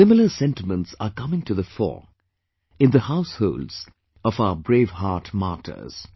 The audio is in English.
Similar sentiments are coming to the fore in the households of our brave heart martyrs